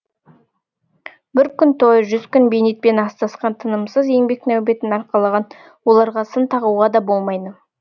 бір күн той жүз күн бейнетпен астасқан тынымсыз еңбек нәубетін арқалаған оларға сын тағуға да болмайды